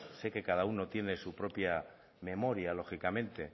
sé que cada uno tiene su propia memoria lógicamente